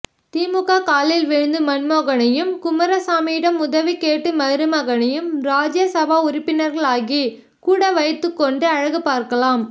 திமுக காலில் விழுந்து மன்மோகனையும் குமாரசாமியிடம் உதவிகேட்டு மருமகனையும் ராஜ்யசபா உறுப்பினர்களாகி கூட வைத்துக்கொண்டு அழகுபார்க்கலாம்